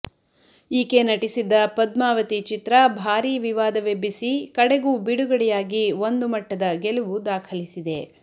ಈಕೆ ನಟಿಸಿದ್ದ ಪದ್ಮಾವತಿ ಚಿತ್ರ ಭಾರೀ ವಿವಾದ ವೆಬ್ಬಿಸಿ ಕಡೆಗೂ ಬಿಡುಗಡೆಯಾಗಿ ಒಂದು ಮಟ್ಟದ ಗೆಲುವು ದಾಖಲಿಸಿದೆ